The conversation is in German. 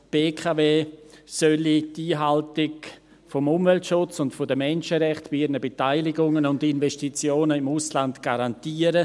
Die BKW solle die Einhaltung des Umweltschutzes und der Menschenrechte bei ihren Beteiligungen und Investitionen im Ausland garantieren;